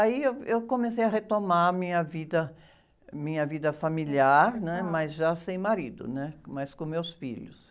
Aí eu, eu comecei a retomar a minha vida, minha vida familiar, né? Mas já sem marido, né? Mais com meus filhos.